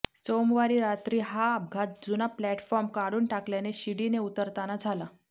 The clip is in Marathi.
सोमवारी रात्री हा अपघात जुना प्लॅटफॉर्म काढून टाकल्याने शिडीने उतरताना झाला